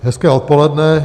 Hezké odpoledne.